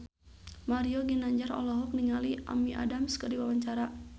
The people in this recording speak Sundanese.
Mario Ginanjar olohok ningali Amy Adams keur diwawancara